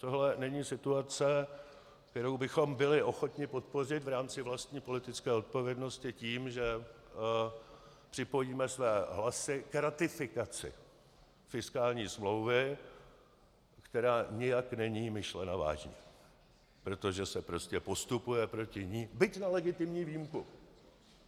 Tohle není situace, kterou bychom byli ochotni podpořit v rámci vlastní politické odpovědnosti tím, že připojíme své hlasy k ratifikaci fiskální smlouvy, která nijak není myšlena vážně, protože se prostě postupuje proti ní, byť na legitimní výjimku.